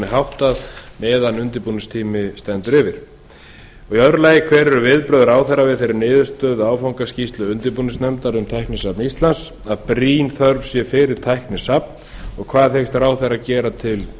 háttað meðan undirbúningur stendur yfir önnur hver eru viðbrögð ráðherra við þeirri niðurstöðu áfangaskýrslu undirbúningsnefndar um tæknisafn íslands að brýn þörf sé fyrir tæknisafn og hvað hyggst ráðherra gera til